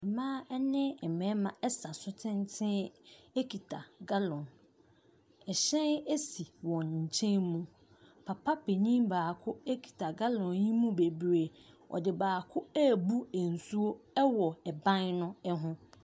Mmaa ne mmarima sa so tenten kita gallon. Ɛhyɛn si wɔn nkyɛn mu. Papa panin baako kita gallon yi mu bebree. Ɔde baako rebu nsuo wɔ ban no ho.